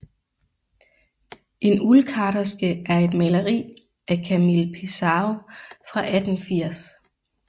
En uldkarterske er et maleri af Camille Pissarro fra 1880